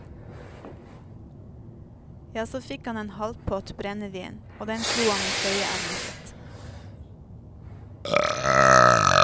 Ja, så fikk han en halvpott brennevin, og den slo han i trøyeermet sitt.